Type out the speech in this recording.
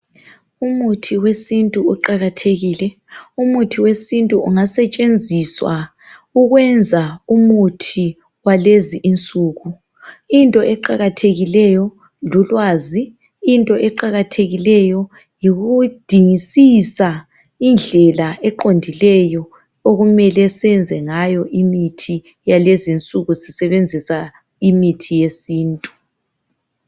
Umuthi wesintu uqakathekile. Umuthi wesintu ungasetshenziswa ukwenza umuthi wakulezi nsuku. Into eqakathekileyo lulwazi .Into eqakathekileyo yikudingisisa indlela eqondileyo okumele senze ngayo imithi yalezi nsuku sisebenzisa imithi yesintu .